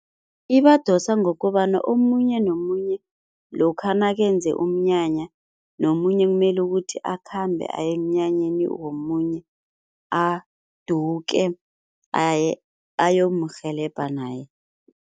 Ibadosa ngokobana omunye nomunye lokha nakenze umnyanya nomunye kumele ukuthi akhambe aye emnyanyeni womunye aduke ayomurhelebha naye.